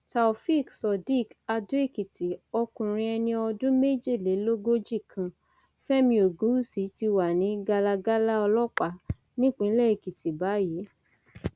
taofeek surdiq adóekìtì ọkùnrin ẹni ọdún méjìlélógójì kan fẹmi ògúnwúsì ti wà ní galagalá ọlọpàá nípínlẹ èkìtì báyìí